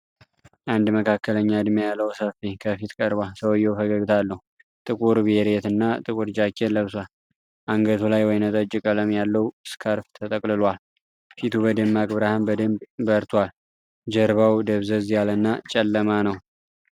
አንድ መካከለኛ እድሜ ያለው ሰው ከፊት ቀርቧል። ሰውየው ፈገግታ አለው፤ ጥቁር ቤሬት እና ጥቁር ጃኬት ለብሷል። አንገቱ ላይ ወይንጠጅ ቀለም ያለው ስካርፍ ተጠቅልሏል። ፊቱ በደማቅ ብርሃን በደንብ በርቷል። ጀርባው ደብዘዝ ያለና ጨለማ ነው።